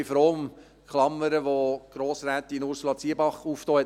Ich bin froh um die Klammer, die Grossrätin Ursula Zybach aufgemacht hat.